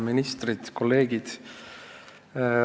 Ministrid, kolleegid!